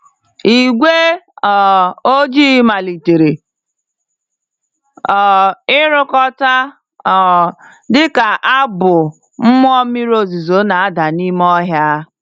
Igwe um ojii malitere um irukọta um dịka abụ mmụọ mmiri ozuzo na-ada n'ime ọhịa.